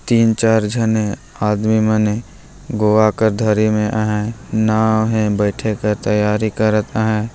तिन चार जन आदमी मने गोवा का धरी में अ नाव हेे बेठे का तैयारी करत हेे।